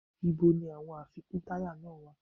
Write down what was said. Ìbo ni àwọn àfikún táyà náà wá?